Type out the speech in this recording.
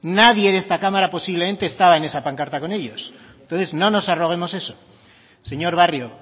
nadie de esta cámara posiblemente estaba en esa pancarta con ellos entonces no nos arroguemos eso señor barrio